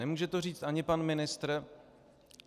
Nemůže to říct ani pan ministr.